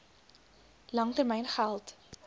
lang termyn geld